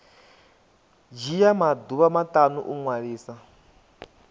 dzhia maḓuvha maṱanu u ṅwalisa